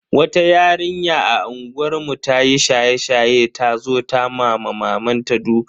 Wata yarinya a unguwar mu ta yi shaye-shaye ta zo ta ma mamanta duka.